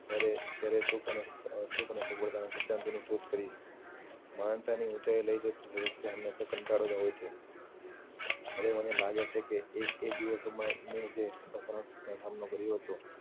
ત્યારે સુખ અને સફળતા ની સિદ્ધાંતો ની શોધ કરી મહાનતા ની ઉચાઇ લઇ જાય ત્યાં તમને કટાળો હવે ને લાગે છે કે એ દિવસ માં મેં જે પ્રથમ કર્યો હતો